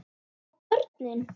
Og börnin?